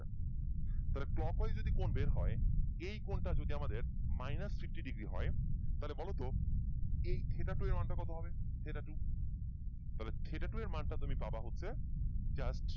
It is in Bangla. তাহলে clockwise যদি কোণ বের হয় এই কোণটা যদি আমাদের minus fifty degree হয় তাহলে বলতো এই theta two এর মান টা কত হবে theta two তাহলে theta two এর মানটা তুমি পাবা হচ্ছে just